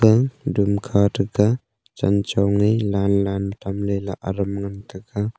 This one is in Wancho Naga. aga doom kha taga chen chong ae lan lan tamley la aram ngan taega.